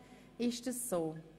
Ist dies zutreffend?